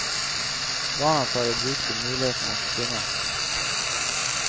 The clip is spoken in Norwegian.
Barna tar i bruk de mulighetene som finnes.